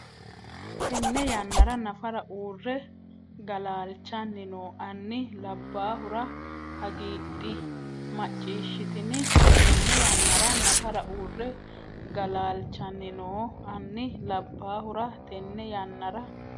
Tenne yannara nafara uurre galaalchanni noo anni labbaahura hagiidhi macciishshitini Tenne yannara nafara uurre galaalchanni noo anni labbaahura Tenne yannara.